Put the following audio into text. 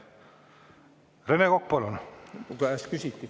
Rene Kokk, palun!